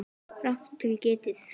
Rangt til getið